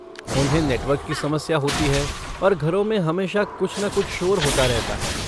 उन्हें नेटवर्क की समस्या होती है और घरों में हमेशा कुछ न कुछ शोर होता रहता है।